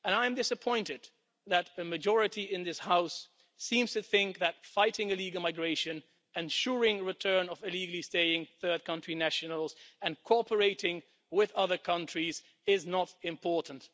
I am disappointed that a majority in this House seems to think that fighting illegal migration, ensuring the return of illegally staying third country nationals and cooperating with other countries is not important.